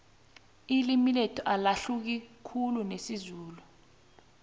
ililmi lethu alahluki khulu nesizulu